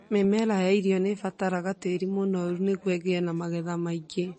Mĩmera ya irio nĩ ĩbataraga tĩĩri mũnoru nĩguo ĩgĩe na magetha maingĩ